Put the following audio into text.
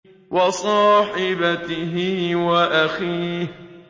وَصَاحِبَتِهِ وَأَخِيهِ